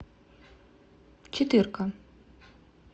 четырка